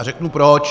A řeknu proč.